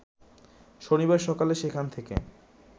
শনিবার সকালে সেখান থেকে